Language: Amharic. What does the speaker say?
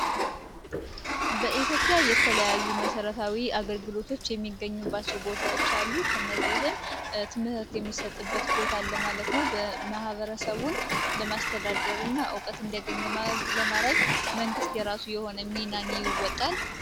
በኢትዮጵያ የተለያዩ መሠረታዊ አገልግሎቶች የሚገኙባቸው ቦታዎች አሉ ከነዚህም ትምስርት የሚሰጥበት ቦታለማለት ነው በመህበረሰቡን ለማስተዳደር እና እውቀት እንዲያገኝ ለማራይጅ መንግሥት የራሱ የሆነ የሚናን ይወጣል፡፡